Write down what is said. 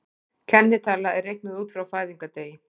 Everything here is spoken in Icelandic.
Kennitala er reiknuð út frá fæðingardegi.